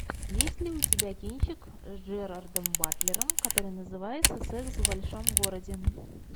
есть ли у тебя кинчик с джерардом батлером который называется секс в большом городе